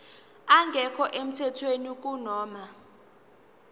engekho emthethweni kunoma